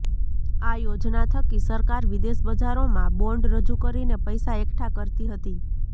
આ યોજના થકી સરકાર વિદેશ બજારોમાં બોન્ડ રજૂ કરીને પૈસા એકઠા કરતી હતી